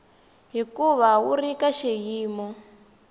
hikuva wu ri ka xiyimo